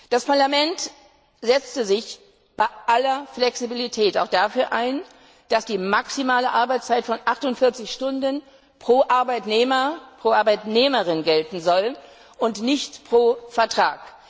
Das Parlament setzte sich bei aller Flexibilität auch dafür ein, dass die maximale Arbeitszeit von 48 Stunden pro Arbeitnehmer pro Arbeitnehmerin gelten soll und nicht pro Vertrag.